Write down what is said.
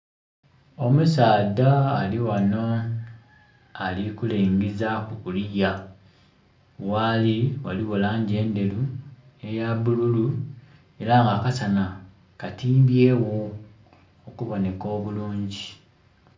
Omusaadha alighano ali ku lengezaku kuliya, ghali ghaligho langi endheru, eya bululu era nga akasana katimbye gho okuboneka obulungi.